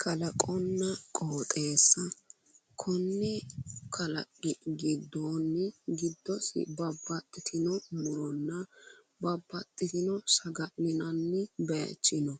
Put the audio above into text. Kalaqonna qooxeessa konni kalaqi gidoonni giddosi babbaxitino muronna babbaxitino saga'linani baayichi no